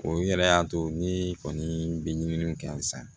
O yɛrɛ y'a to ne kɔni bɛ ɲini sa